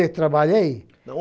Onde eu trabalhei?